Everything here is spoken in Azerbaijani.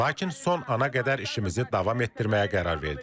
Lakin son ana qədər işimizi davam etdirməyə qərar verdik.